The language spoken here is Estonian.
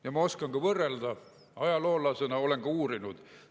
Ja ma oskan võrrelda ka ajaloolasena, olen uurinud.